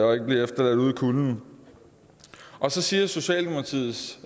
og ikke blive efterladt ude i kulden og så siger socialdemokratiets